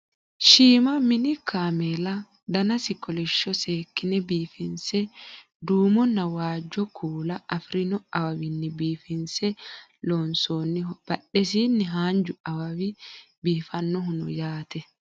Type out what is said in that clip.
shiima mini kameela danasi kolishsho seekkine biifinse duumonna waajjo kuula afirino awawinni biifinse loonsoonniho badhesiinni haanju awawi biifannohu no yaate